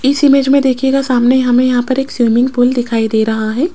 इस इमेज में देखीएगा सामने हमें यहां पर एक स्विमिंग पूल दिखाई दे रहा है।